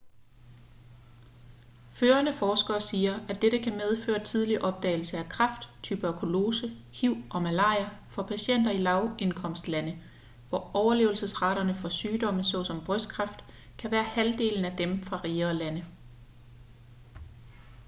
førende forskere siger at dette kan medføre tidlig opdagelse af kræft tuberkulose hiv og malaria for patienter i lavindkomstlande hvor overlevelsesraterne for sygdomme såsom brystkræft kan være halvdelen af dem fra rigere lande